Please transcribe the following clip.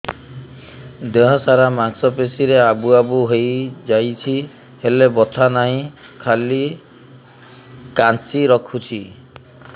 ଦେହ ସାରା ମାଂସ ପେଷି ରେ ଆବୁ ଆବୁ ହୋଇଯାଇଛି ହେଲେ ବଥା ନାହିଁ ଖାଲି କାଞ୍ଚି ରଖୁଛି